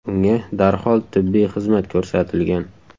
Unga darhol tibbiy xizmat ko‘rsatilgan.